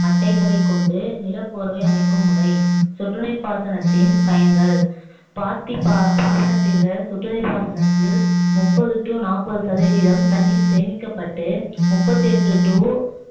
மட்டைகளை கொண்டு நிலப்பேர்வை அமைக்கும் முறை சொட்டு நீர் பாசனத்தின் பயன்கள் பாத்திப் பாசனத்தைவிட சொட்டு நீர் பாசனத்தில் முப்பது to நாப்பது சதவீதம் தண்ணீர் கேமிக்கப்பட்டு முப்பது எட்டு to